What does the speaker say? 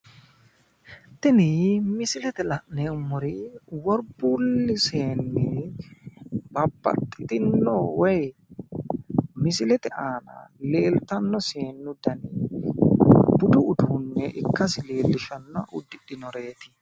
Tini misilete la'neemmori worbuulle seenni babbaxitino woyi misilete aana leeltanno seennu dani budu uduunne ikkasi leellisha uddidhinoreeti